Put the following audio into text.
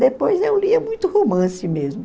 Depois eu lia muito romance mesmo.